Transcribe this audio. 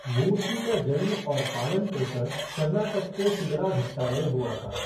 मूर्ति का जन्म और पालन पोषण कर्नाटक के शिदलाघट्टा में हुआ था।